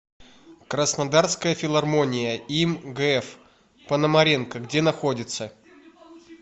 краснодарская филармония им гф пономаренко где находится